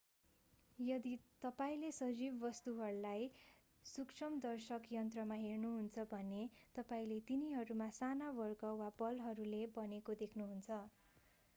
यदि तपाईंले सजीव वस्तुहरूलाई सूक्ष्मदर्शक यन्त्रमा हेर्नुहुन्छ भने तपाईंले तिनीहरू साना वर्ग वा बलहरूले बनेको देख्नुहुन्छ